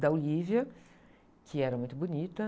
Da Olivia, que era muito bonita.